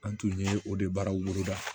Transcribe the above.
An tun ye o de baaraw boloda